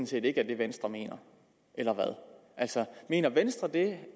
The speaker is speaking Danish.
set ikke er det venstre mener eller hvad mener venstre det